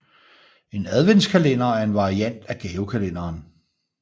En adventskalender er en variant af gavekalenderen